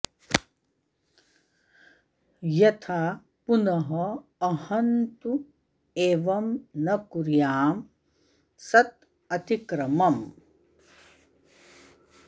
यथा पुनः अहं तु एवं न कुर्यां सत् अतिक्रमम्